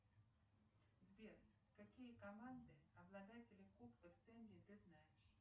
сбер какие команды обладатели кубка стенли ты знаешь